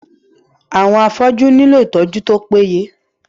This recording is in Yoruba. Àwọn afọ́jú nílò ìtọjú tó péye.